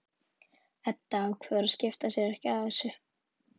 Edda ákveður að skipta sér ekki af þessu.